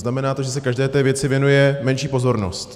Znamená to, že se každé té věci věnuje menší pozornost.